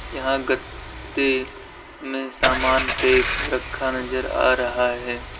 यहां गते में सामान पैक रखा नजर आ रहा है।